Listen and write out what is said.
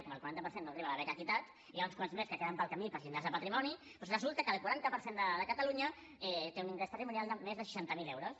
com que el quaranta per cent no arriba a la beca equitat n’hi ha uns quants més que es queden pel camí pels llindars de patrimoni doncs resulta que el quaranta per cent de catalunya té un ingrés patrimonial de més de seixanta mil euros